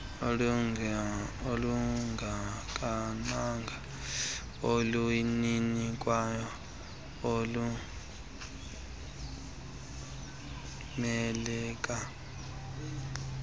olungakanani olunikwayo luxhomekeka